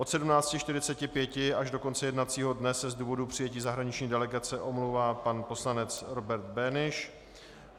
Od 17.45 až do konce jednacího dne se z důvodů přijetí zahraniční delegace omlouvá pan poslanec Robert Beneš.